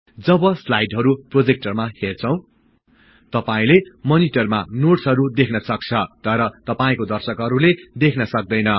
जब स्लाईडहरु प्रोजेक्टरमा हेर्छौं तपाईले मनिटरमा नोट्सहरु देख्न सक्छौं तर तपाईको दर्शकहरुले सक्दैनन्